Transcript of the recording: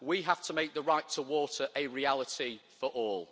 We have to make the right to water a reality for all.